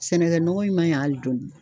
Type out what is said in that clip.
Sɛnɛkɛ nɔgɔ in man ɲi hali dɔɔni.